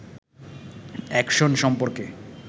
action সম্পর্কে